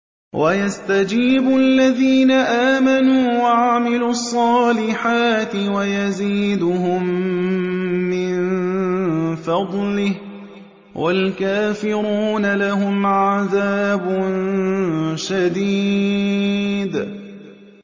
وَيَسْتَجِيبُ الَّذِينَ آمَنُوا وَعَمِلُوا الصَّالِحَاتِ وَيَزِيدُهُم مِّن فَضْلِهِ ۚ وَالْكَافِرُونَ لَهُمْ عَذَابٌ شَدِيدٌ